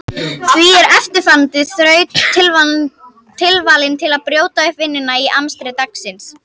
Því er eftirfarandi þraut tilvalin til að brjóta upp vinnuna í amstri dagsins.